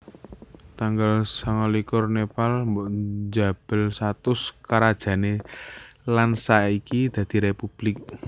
Tanggal sangalikur Nepal njabel status karajané lan saiki dadi républik